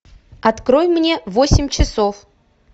открой мне восемь часов